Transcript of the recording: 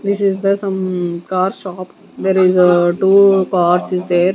This is the some car shop there is two cars is there.